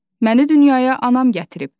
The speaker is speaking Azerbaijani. Məni dünyaya anam gətirib.